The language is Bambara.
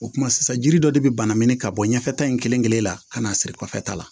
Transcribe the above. O kumana sisan jiri dɔ de bɛ bana ɲini ka bɔ ɲɛfɛta in kelen kelen na ka na siri kɔfɛ ta la